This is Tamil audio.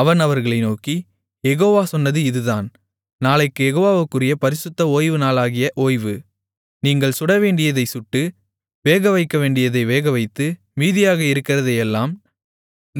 அவன் அவர்களை நோக்கி யெகோவா சொன்னது இதுதான் நாளைக்குக் யெகோவாவுக்குறிய பரிசுத்த ஓய்வுநாளாகிய ஓய்வு நீங்கள் சுடவேண்டியதைச் சுட்டு வேகவைக்கவேண்டியதை வேகவைத்து மீதியாக இருக்கிறதையெல்லாம்